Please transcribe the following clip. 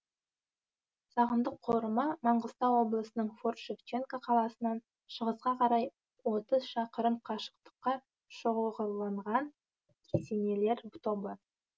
сағындық қорымы маңғыстау облысының форт шевченко қаласынан шығысқа қарай отыз шақырым қашықтықта шоғырланған кесенелер тобы